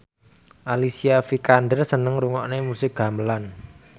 Alicia Vikander seneng ngrungokne musik gamelan